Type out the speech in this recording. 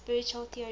spiritual theories